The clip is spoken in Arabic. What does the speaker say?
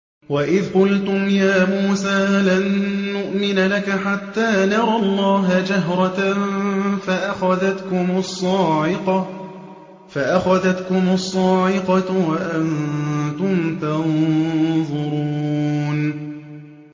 وَإِذْ قُلْتُمْ يَا مُوسَىٰ لَن نُّؤْمِنَ لَكَ حَتَّىٰ نَرَى اللَّهَ جَهْرَةً فَأَخَذَتْكُمُ الصَّاعِقَةُ وَأَنتُمْ تَنظُرُونَ